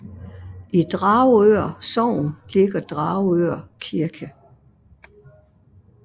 I Dragør Sogn ligger Dragør Kirke